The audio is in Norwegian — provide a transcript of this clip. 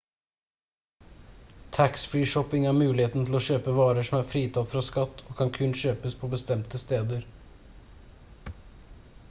tax-free shopping er muligheten til å kjøpe varer som er fritatt fra skatt og kan kun kjøpes på bestemte steder